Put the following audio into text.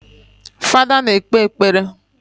Fada na-ekpe ekpere